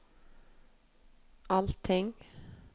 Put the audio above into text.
allting